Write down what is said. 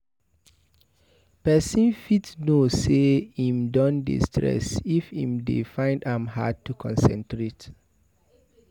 Person fit know sey im don dey stress if im dey find am hard to concentrate